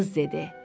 Qız dedi: